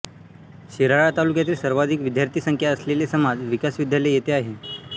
शिराळा तालुक्यातील सर्वाधिक विद्यार्थीसंख्या असलेले समाज विकास विद्यालय येथे आहे